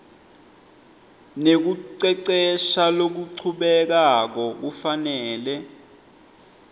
nekucecesha lokuchubekako kufanele